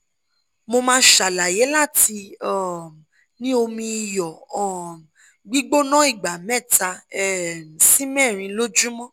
1] mo máa ṣalaye láti um ní omi iyọ̀ um gbígbóná ìgbà mẹ́ta um sí mẹ́rin lójúmọ́